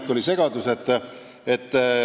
Siin oli segadus.